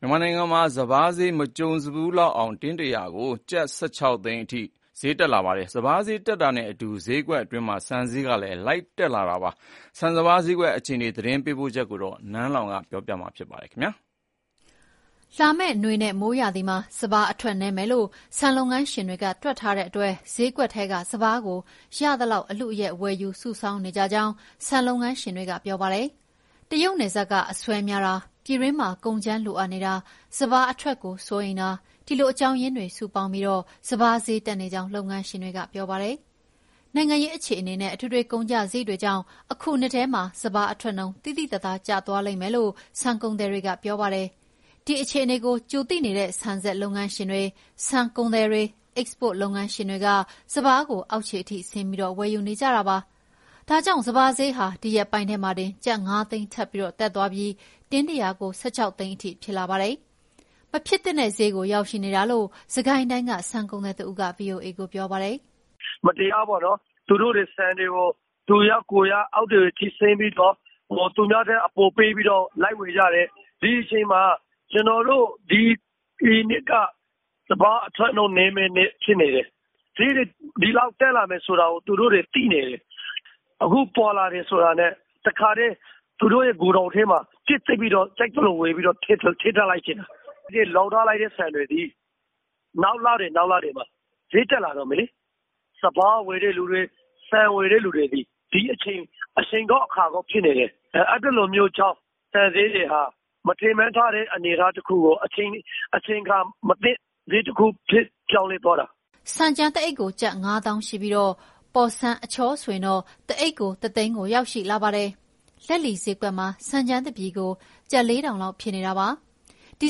မြန်မာနိုင်ငံမှာ စပါးဈေးဟာ မကြုံစထူး တင်းတရာကို ကျပ် ၁၆ သိန်းအထိ ထိုးတက်လာပါတယ်။ စပါးဈေးတက်တာနဲ့အတူ ဈေးကွက်အတွင်း ဆန်ဈေးတွေလည်း တက်လာပါတယ်။ ဆန်စပါး ဈေးကွက်အခြေအနေ သတင်းပေးပို့ထားတာကို နန်းလောင်ဝ်က တင်ပြပေးထားပါတယ်။ လာမယ့်နွေနဲ့မိုးရာသီမှာ စပါးအထွက်နည်းမယ်လို့ ဆန်လုပ်ငန်းရှင်တွေက တွက်ထားတဲ့အတွက် ဈေးကွက် ထဲကစပါးကို ရသလောက် အလုအယက် ဝယ်ယူစုဆောင်းနေကြကြောင်း ဆန်လုပ်ငန်းရှင်တွေက ပြောပါတယ်။ တရုပ်နယ်စပ်က အဆွဲများတာ၊ ပြည်တွင်းမှာ ကုန်ကြမ်းလိုအပ်နေတာ၊ စပါးထွက်နှုန်းကိုစိုးရိမ်တာ- စတဲ့ အကြောင်းရင်းတွေ စုပေါင်းပြီး စပါးဈေးတက်နေတာဖြစ်ကြောင်း လုပ်ငန်းရှင်တွေက ပြောပါတယ်။ နိုင်ငံရေးအခြေအနေနဲ့ အထွေထွေကုန်ကျစရိတ်တွေကြောင့် အခုနှစ်ထဲမှာ စပါးအထွက်နှုန်း သိသိသာသာ ကျသွားလိမ့်မယ်လို့ ဆန်ကုန်သည်တွေက ပြောပါတယ်။ ဒီအခြေအနေကို ကြိုသိနေတဲ့ ဆန်စက်လုပ်ငန်းရှင်တွေ၊ ဆန်ကုန်သည်တွေ၊ အိတ်စပို့လုပ်ငန်းရှင်တွေက စပါးကို အောက်ခြေအထိဆင်းပြီး ဝယ်ယူနေကြတာပါ။ ဒါကြောင့် စပါးဈေးဟာ ဒီရက်ပိုင်းထဲမှာတင် ကျပ် ၅ သိန်းထပ်တက်သွားပြီး တင်းတရာကို ၁၆ သိန်း ဖြစ်လာတာပါ။ မဖြစ်သင့်တဲ့ဈေးကို ရောက်ရှိနေတာလို့ စစ်ကိုင်းတိုင်းက ဆန်ကုန်သည်တဦးက ဗွီအိုအေကို ပြောပါတယ်။ " မတရားပေါ့နော်၊ သူတို့တွေ ဆန်တွေကို သူရကိုယ်ရ အောက်တွေကိုဆင်းကြည့်ပြီးတော့ သူများထက်အပေါ် ပေးပြီးတော့ လိုက်ဝယ်ကြတယ်။ ဒီအချိန်မှာ ကျနော်တို့ ဒီနှစ်က စပါးအထွက်နှုန်း နည်းမယ့်နှစ် ဖြစ်နေတယ်။ ဈေးတွေ ဒီလောက် တက်လာမယ်ဆိုတာကို သူတို့တွေ သိနေတယ်။ အခု (စပါး) ပေါ်လာတယ်ဆိုတာနဲ့ တခါတည်း သူတို့ရဲ့ဂိုဒေါင်ထဲမှာပြည့်သိပ်ပြီး ထည့်ထားလိုက်တယ်။ လှောင်ထားလိုက်တဲ့ ဆန်တွေသည် နောက်လတွေမှာ ဈေးတက်လာတော့မယ်လေ။ စပါးဝယ်တဲ့သူတွေ ဆန်ဝယ်မယ့်သူတွေ၊ ဒီအချိန်သည် အချိန်ကောင်း အခါကောင်း ဖြစ်နေတယ်။ အဲဒီလိုမျိုးကြောင့် ဆန်ဈေးတွေဟာ မထင်မှတ်ထားတဲ့ အနေအထားတခုကို အချိန်အခါမသင့် ဈေးတခုကို ပြောင်းလဲသွားတာ။" ဆန်ကြမ်းတအိတ်ကို ကျပ်ငါးသောင်းရှိပြီး ပေါ်ဆန်းအချောဆိုရင်တော့ တအိတ်ကို ၁ သိန်းကို ရောက်ရှိလာပါတယ်။ လက်လီဈေးကွက်မှာ ဆန်ကြမ်းတပြည်ကို ကျပ် ၄,၀၀၀ လောက်ဖြစ်နေတာပါ။ ဒီ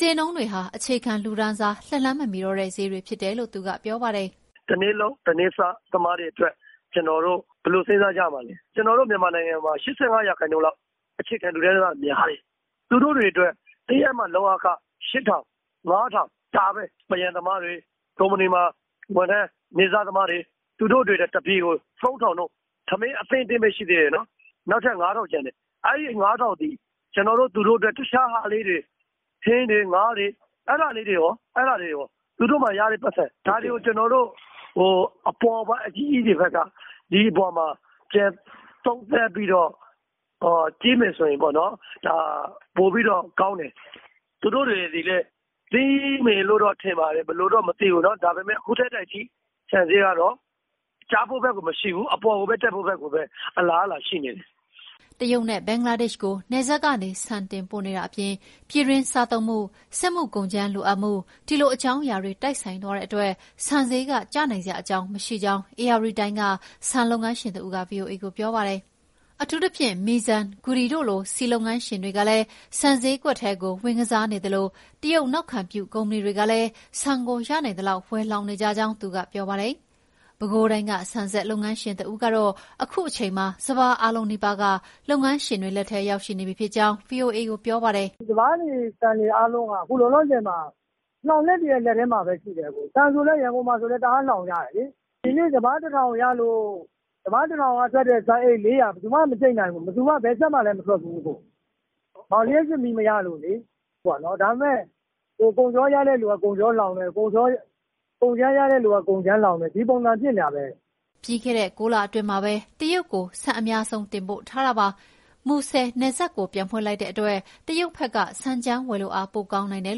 ဈေးနှုန်းတွေဟာ အခြေခံလူတန်းစား လက်လှမ်းမမီတော့တဲ့ ဈေးတွေဖြစ်တယ်လို့ သူကပြောပါတယ်။ " တနေ့လုပ် တနေ့စားသမားတွေအတွက် ကျနော်တို့ ဘယ်လိုစဉ်းစားကြမှာလဲ။ ကျနော်တို့ မြန်မာနိုင်ငံမှာ ၈၅ ရာခိုင်နှုန်းက အခြေခံလူတန်းစားတွေ များတယ်။ သူတို့တွေအတွက် တရက်မှ လုပ်အားခ ရှစ်ထောင်၊ ငါးထောင် ဒါပဲ။ ပန်းရံသမားတွေ၊ ကုမ္ပဏီဝန်ထမ်း၊ နေ့စားသမားတွေ သူတို့တွေအတွက် တပြည်ကို သုံးထောင်က ထမင်းအဆင့်ပဲ ရှိသေးတယ်။ နောက်ထပ် ငါးထောင်ကျန်တယ်၊ အဲဒီ ငါးထောင်သည် တခြားဟာလေးတွေ ထင်းတွေ၊ ငါးတွေ အဲဒါလေးတွေရော၊ သူတို့မှာရတဲ့ပိုက်ဆံ ဒါတွေကို အပေါ်ပိုင်း (ဆန်လုပ်ငန်းရှင်) အကြီးကြီးတွေကဘက်က ဒီအပေါ်မှာ ပြန်သုံးသပ်ပြီးတော့ ကြည့်မယ်ဆိုရင်ပေါ့နော် ပိုပြီးတော့ ကောင်းတယ်။ ဆန်ဈေးကတော့ ကျဖို့ဘက်ကို မရှိဘူး၊ အပေါ်ကို တက်ဖို့ပဲ အလားအလာ ရှိနေတယ်။" တရုတ်နဲ့ ဘင်္ဂလားဒေ့ရှ်ကို နယ်စပ်ကနေ ဆန်တင်ပို့နေတာအပြင် ပြည်တွင်းစားသုံးမှု၊ စက်မှုကုန်ကြမ်းလိုအပ်မှု ဒီလို အကြောင်းအရာတွေ တိုက်ဆိုင်သွားတဲ့အတွက် ဆန်ဈေးက ကျနိုင်စရာမရှိကြောင်း ဧရာဝတီတိုင်းက ဆန်လုပ်ငန်းရှင်တဦးက ဗွီအိုအေကို ပြောပါတယ်။ အထူးသဖြင့် Meizan ၊ Goody တို့လို ဆီလုပ်ငန်းရှင်တွေကလည်း ဆန်ဈေးကွက်ထဲကို ဝင်ကစားနေသလို တရုတ်နောက်ခံပြု ကုမ္ပဏီတွေကလည်း ဆန်ကို ရနိုင်သလောက် ဝယ်လှောင်နေကြကြောင်း သူကပြောပါတယ်။ ပဲခူးတိုင်းက ဆန်စက်လုပ်ငန်းရှင် တဦးကတော့ အခုအချိန်မှာ စပါးအားလုံနီးပါးက လုပ်ငန်းရှင်တွေလက်ထဲကို ရောက်ရှိနေပြီဖြစ်ကြောင်း ဗွီအိုအေကို ပြောပါတယ်။ " စပါးတွေ၊ ဆန်တွေ အားလုံးက အခုလောလောဆယ်မှာ လှောင်တဲ့သူတွေရဲ့ လက်ထဲမှာပဲရှိတယ်။ ဆန်ဆို ရန်ကုန်မှာလည်း တအားလှောင်ကြတယ်လေ။ ဒီနှစ် စပါး(တင်း) ၁,၀၀၀ ရလို့ စပါး ၁,၀၀၀ ကထွက်တဲ့ ဆန်အိတ် ၄၀၀ ဘယ်သူမှ မကြိတ်နိုင်ဘူး။ ဘယ်စက်မှလည်း မထွက်ဘူး။ လျှပ်စစ်မီးမရလို့။ ဒါပေမဲ့ ကုန်ချောရတဲ့သူက ကုန်ချောလှောင်တယ်၊ ကုန်ကြမ်းရတဲ့သူက ကုန်ကြမ်းလှောင်တယ်၊ ဒီပုံစံ ဖြစ်နေတာပဲ။" ပြီးခဲ့တဲ့ ကိုးလအတွင်းမှာ တရုတ်ကိုပဲ ဆန်အများဆုံး တင်ပို့ထားတာပါ။ မူဆယ်နယ်စပ်ကို ပြန်ဖွင့်လိုက်တဲ့အတွက် တရုတ်ဘက်က ဆန်ကြမ်းဝယ်လိုအား ပိုကောင်းနိုင်တယ်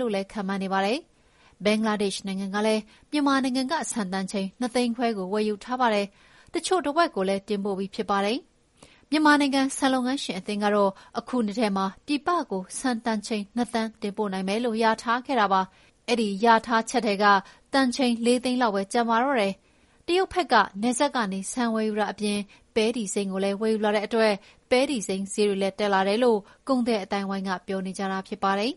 လို့လည်း ခန့်မှန်းနေပါတယ်။ ဘင်္ဂလားဒေ့ရှ်နိုင်ငံကလည်း မြန်မာနိုင်ငံက ဆန်တန်ချိန် ၂ သိန်းခွဲကို ဝယ်ယူထားပါတယ်။ တချို့တဝက်ကိုလည်း တင်ပို့ပြီးဖြစ်ပါတယ်။ မြန်မာနိုင်ငံ ဆန်လုပ်ငန်းရှင်အသင်းကတော့ အခုနှစ်ထဲမှာ ပြည်ပကို ဆန်တန်ချိန် ၂ သန်းတင်ပို့နိုင်မယ်လို့ လျာထားခဲ့တာပါ။ အဲဒီလျာထားချက်ထဲက တန်ချိန် ၄ သိန်းလောက်ပဲ ကျန်တော့တာပါ။ တရုတ်ဘက်က နယ်စပ်ကနေ ဆန်ဝယ်ယူတာအပြင် ပဲတီစိမ်းကိုလည်း ဝယ်ယူလာတဲ့အတွက် ပဲတီစိမ်းဈေးတွေလည်း တက်လာတယ်လို့ ကုန်သည်အသိုင်းအဝန်းက ပြောနေကြတာ ဖြစ်ပါတယ်။